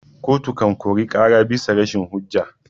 Koto kan kori ƙara abisa rashin hujja.